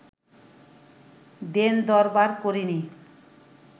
দেন-দরবার করিনি